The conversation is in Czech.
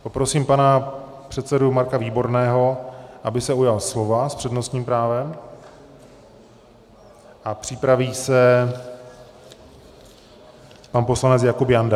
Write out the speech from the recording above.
Poprosím pana předsedu Marka Výborného, aby se ujal slova s přednostním právem, a připraví se pan poslanec Jakub Janda.